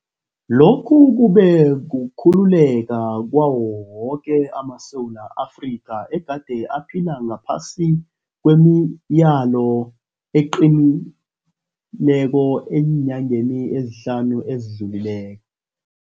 Lokhu kube kukhululeka kwawo woke amaSewula Afrika egade aphila ngaphasi kwemileyo eqinileko eenyangeni ezihlanu ezidlulileko.